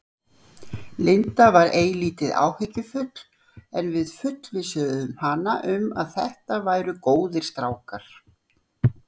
Linda var eilítið áhyggjufull en við fullvissuðum hana um að þetta væru góðir strákar.